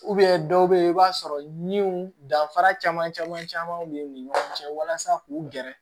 dɔw bɛ yen i b'a sɔrɔ min danfara caman caman b'u ni ɲɔgɔn cɛ walasa k'u gɛrɛ